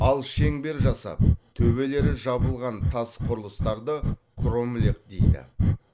ал шеңбер жасап төбелері жабылған тас құрылыстарды кромлех дейді